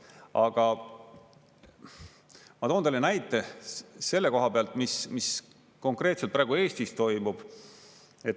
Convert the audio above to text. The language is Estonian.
Aga ma toon teile näite selle koha pealt, mis konkreetselt praegu Eestis toimub.